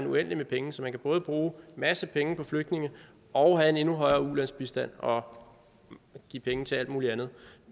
uendeligt med penge så man både kan bruge en masse penge på flygtninge og have en endnu højere ulandsbistand og give penge til alt muligt andet